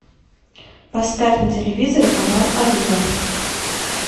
поставь на телевизоре канал олива